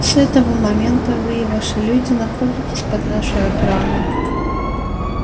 с этого момента вы и ваши люди находитесь под нашей охраной